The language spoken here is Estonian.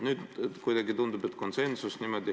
Nüüd kuidagi tundub, et on konsensus.